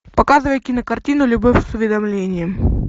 показывай кинокартину любовь с уведомлением